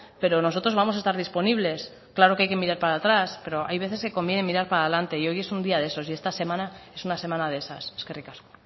pero nosotros vamos a estar disponibles claro que hay que mirar para atrás pero hay veces que conviene mirar para adelante y hoy es un día de esos y esta semana es una semana de esas eskerrik asko